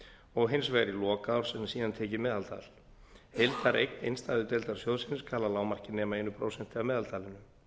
og hins vegar í lok árs en síðan tekið meðaltal heildareign innstæðudeildar sjóðsins skal að lágmarki nema eitt prósent af meðaltalinu